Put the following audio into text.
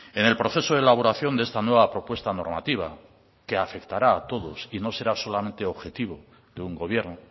en el proceso de elaboración de esta nueva propuesta normativa que afectará a todos y no será solamente objetivo de un gobierno